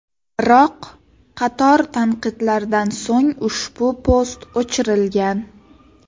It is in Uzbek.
Biroq, qator tanqidlardan so‘ng ushbu post o‘chirilgan.